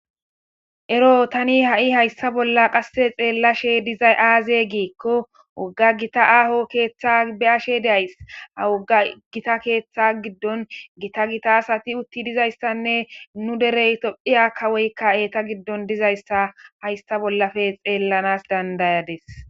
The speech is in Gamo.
ero tani ha7i hayssa bolla qasse xeellashe dizay aaze giikko wogga gita aaho keeththa be ashe days a wogga gita keeththa giddon gita gita asati utti dizayssanne nu derey tophiya kawoykka eeta giddon dizayssa haysta bollafe xeellanas dandayades